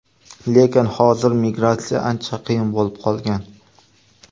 Lekin hozir migratsiya ancha qiyin bo‘lib qolgan.